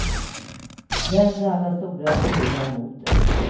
Vänd alla stora speglar mot dig.